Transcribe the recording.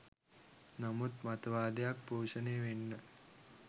නමුත් මතවාදයක් පෝෂණය වෙන්න